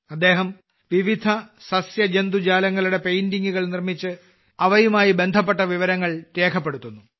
അദ്ദേഹം വിവിധ സസ്യജന്തുജാലങ്ങളുടെ പെയിന്റിംഗുകൾ നിർമ്മിച്ച് അവയുമായി ബന്ധപ്പെട്ട വിവരങ്ങൾ രേഖപ്പെടുത്തുന്നു